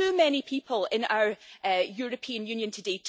Too many people in our European Union today